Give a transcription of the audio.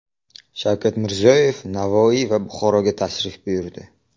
Shavkat Mirziyoyev Navoiy va Buxoroga tashrif buyurdi.